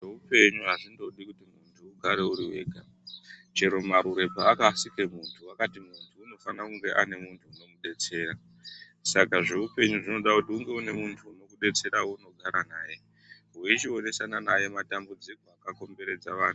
Zveupenyu azvindodi kuti munhu ugare uri wega. Chero marure paakasike munhu wakati munhu unofana kunge ane munhu unomudetsera. Saka zveupenyu zvinoda kuti unge une munhu unokudetserawo weunogara naye, weichionesana naye matambudziko akakomberedza vanhu.